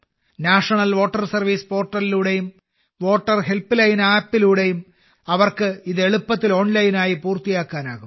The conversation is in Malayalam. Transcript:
നാഷണൽ വോട്ടർ സർവീസ് പോർട്ടലിലൂടെയും വോട്ടർ ഹെൽപ്പ് ലൈൻ ആപ്പിലൂടെയും അവർക്ക് ഇത് എളുപ്പത്തിൽ ഓൺലൈനായി പൂർത്തിയാക്കാനാകും